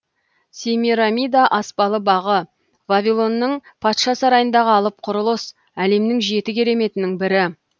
семирамида аспалы бағы вавилонның патша сарайындағы алып құрылыс әлемнің жеті кереметінің бірі